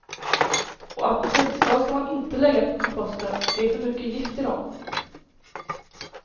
Och apelsinskal ska man inte lägga på komposten, det är för mycket gift i dem.